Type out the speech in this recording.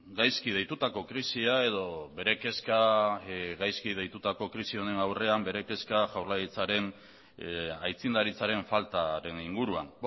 gaizki deitutako krisia edo bere kezka gaizki deitutako krisi honen aurrean bere kezka jaurlaritzaren aitzindaritzaren faltaren inguruan